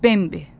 Bembi.